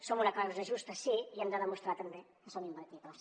som una causa justa sí i hem de demostrar també que som imbatibles